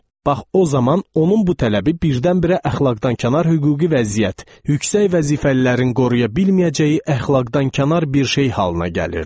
Bax o zaman onun bu tələbi birdən-birə əxlaqdan kənar hüquqi vəziyyət, yüksək vəzifəlilərin qoruya bilməyəcəyi əxlaqdan kənar bir şey halına gəlirdi.